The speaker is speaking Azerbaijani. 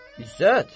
İzzət!